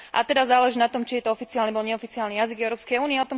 A teda záleží na tom, či je to oficiálny alebo neoficiálny jazyk Európskej únie.